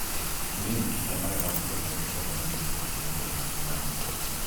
Cliniki cia magego nĩ ciongererekete na gĩkĩro kĩa igurũ matũrainĩ.